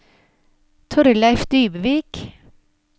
Thorleif Dybvik